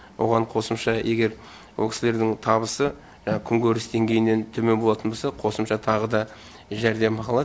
оған қосымша егер ол кісілердің табысы күнкөріс деңгейінен төмен болатын болса қосымша тағы да жәрдемақы алады